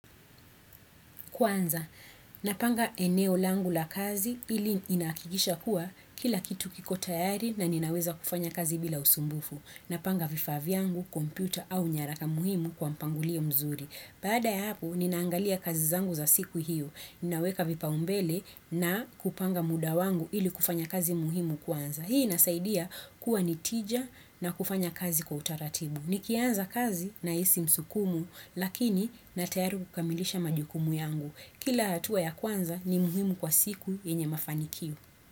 Kwanza, napanga eneo langu la kazi ili inahakikisha kuwa kila kitu kiko tayari na ninaweza kufanya kazi bila usumbufu. Napanga vifaa vyangu, kompyuta au nyaraka muhimu kwa mpangilio mzuri. Baada ya hapo, ninaangalia kazi zangu za siku hiyo. Ninaweka vipaumbele na kupanga muda wangu ili kufanya kazi muhimu kwanza. Hii inasaidia kuwa nitija na kufanya kazi kwa utaratibu. Nikianza kazi na hisi msukumu lakini na tayari kukamilisha majukumu yangu. Kila hatua ya kwanza ni muhimu kwa siku yenye mafanikio.